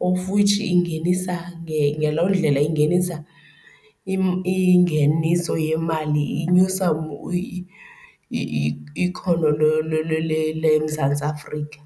of which ingenisa , ngelo ndlela ingenisa ingeniso yemali, inyusa ikhono leMzantsi Afrika.